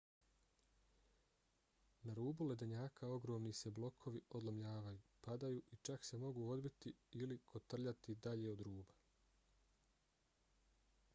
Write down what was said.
na rubu ledenjaka ogromni se blokovi odlomljavaju padaju i čak se mogu odbiti ili kotrljati dalje od ruba